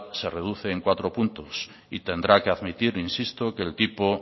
se reduce en cuatro puntos y tendrá que admitir insisto que el tipo